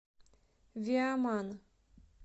виаман